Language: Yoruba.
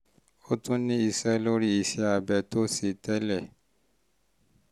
ó tún ní í ṣe lórí isẹ́ abẹ tó o ṣe tẹ́lẹ̀